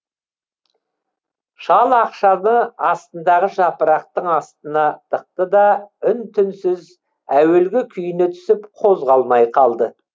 шал ақшаны астындағы жапырақтың астына тықты да үн түнсіз әуелгі күйіне түсіп қозғалмай қалды